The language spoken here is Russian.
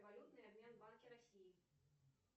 валютный обмен в банке россии